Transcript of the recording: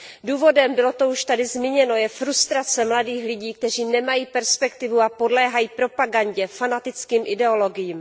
Důvodem, bylo to tady již zmíněno, je frustrace mladých lidí, kteří nemají perspektivu a podléhají propagandě, fanatickým ideologiím.